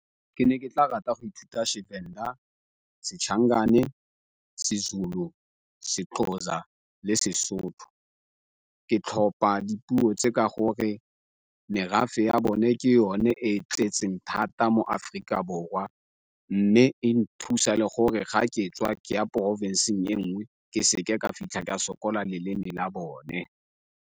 Ke ne ke tla rata go ithuta seVenda, , seZulu, seXhosa le seSotho. Ke tlhopa dipuo tse ka gore merafe ya bone ke yone e e tletseng thata mo Aforika Borwa mme e nthusa le gore ga ke tswa ke ya porofenseng e nngwe ke seke ka fitlha ka sokola leleme la bone.